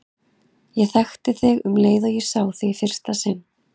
Ég þekkti þig um leið og ég sá þig í fyrsta sinn.